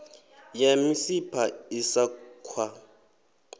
ya misipha i sa khwa